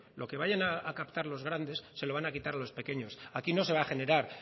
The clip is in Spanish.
lo que vayan a captar los grandes se lo van a quitar los pequeños aquí no se va a generar